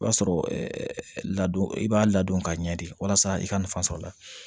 I b'a sɔrɔ ladon i b'a ladon ka ɲɛ de walasa i ka nafa sɔrɔ a la